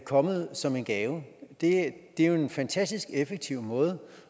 kommet som en gave det er jo en fantastisk effektiv måde